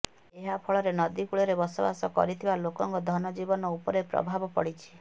ଏହା ଫଳରେ ନଦୀ କୂଳରେ ବସବାସ କରିଥିବା ଲୋକଙ୍କ ଧନଜୀବନ ଉପରେ ପ୍ରଭାବ ପଡିଛି